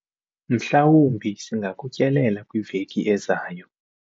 mhlawumbi singakutyelela kwiveki ezayo.